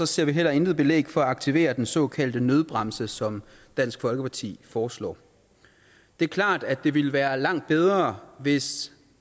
ser vi heller intet belæg for at aktivere den såkaldte nødbremse som dansk folkeparti foreslår det er klart at det ville være langt bedre hvis